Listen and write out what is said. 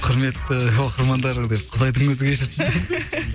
құрметті оқырмандар деп құдайдың өзі кешірсін